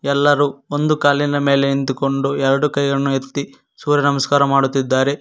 ಎಲ್ಲರೂ ಒಂದು ಕಾಲಿನ ಮೇಲೆ ನಿಂತುಕೊಂಡು ಎರಡು ಕೈಯನ್ನು ಎತ್ತಿ ಸೂರ್ಯ ನಮಸ್ಕಾರ ಮಾಡುತ್ತಿದ್ದಾರೆ.